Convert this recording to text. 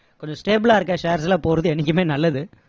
கொஞ்சம் stable லா இருக்க shares ல போறது என்னைக்குமே நல்லது